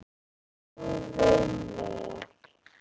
Trúðu mér!